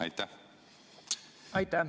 Aitäh!